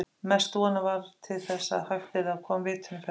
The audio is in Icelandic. Mest von var til þess að hægt yrði að koma vitinu fyrir hann.